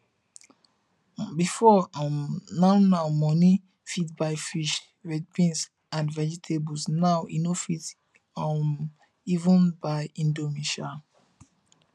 before um now now money fit buy fish beans and vegetables now e no fit um even buy indomie um